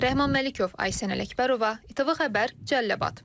Rəhman Məlikov, Aysən Ələkbərova, ATV Xəbər, Cəlilabad.